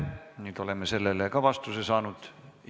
Nüüd oleme ka sellele vastuse saanud.